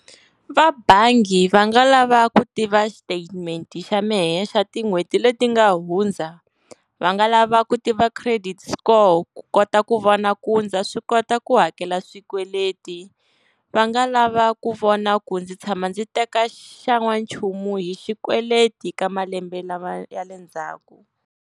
Va bangi va nga lava ku tiva statement xa mehe xa tin'hweti leti nga hundza, va nga lava ku tiva credit score ku kota ku vona ku ndza swi kota ku hakela swikweleti. Va nga lava ku vona ku ndzi tshama ndzi teka xan'wanchumu hi xikweleti ka malembe lama ya le ndzhaku.